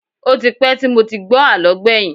Ó ti pẹ́ tí mo ti gbọ́ àlọ́ gbẹ̀yìn